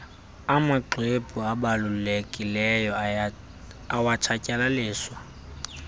amxwebhu abalulekileyo awatshatyalaliswa